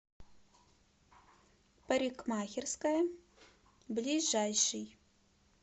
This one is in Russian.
парикмахерская ближайший